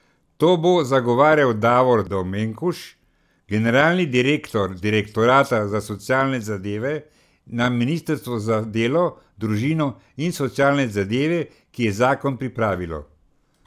To bo zagovarjal Davor Dominkuš, generalni direktor direktorata za socialne zadeve na ministrstvu za delo, družino in socialne zadeve, ki je zakon pripravilo.